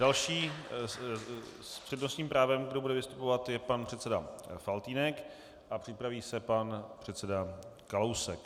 Další s přednostním právem, kdo bude vystupovat, je pan předseda Faltýnek a připraví se pan předseda Kalousek.